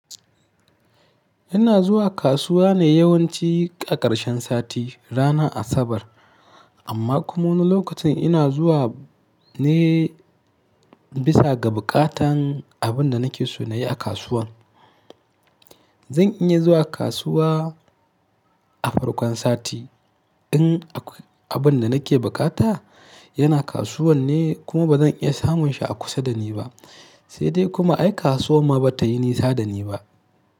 Ina zuwa kasuwa ne yawanci a ƙarshen sati, ranar Asabar. Amma kuma wani lokacin ina zuwa ne bisa ga buƙatan abin da nake so na yi a kasuwan. Zan iya zuwa kasuwa a farkon sati in abin da nake bukata yana kasuwan ne kuma ba zan iya samun shi a kusa da ni ba, sai dai kuma ai kasuwa ma ba ta yi nisa da ni ba.